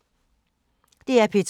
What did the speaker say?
DR P2